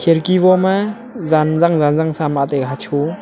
khirki voma Jan jung jan jung sama tega hasho--